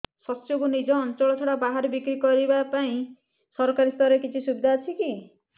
ଶସ୍ୟକୁ ନିଜ ଅଞ୍ଚଳ ଛଡା ବାହାରେ ବିକ୍ରି କରିବା ପାଇଁ ସରକାରୀ ସ୍ତରରେ କିଛି ସୁବିଧା ଅଛି କି